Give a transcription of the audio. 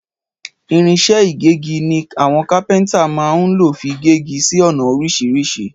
Ìrínsẹ ìgẹgí ní awon kàpẹntá mà hún lófi gẹgi sí ona orísìsírì